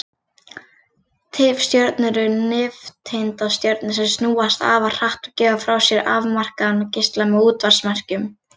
Tifstjörnur eru nifteindastjörnur sem snúast afar hratt og gefa frá sér afmarkaðan geisla með útvarpsmerkjum.